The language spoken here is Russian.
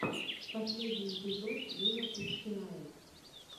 последний эпизод виапуссирайот